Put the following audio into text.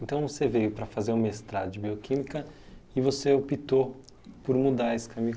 Então você veio para fazer o mestrado de bioquímica e você optou por mudar esse